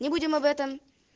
не будем об этом